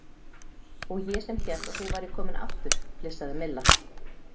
Og ég sem hélt að þú værir kominn aftur flissaði Milla.